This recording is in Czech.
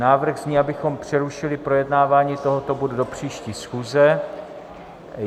Návrh zní, abychom přerušili projednávání tohoto bodu do příští schůze.